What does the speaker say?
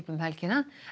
um helgina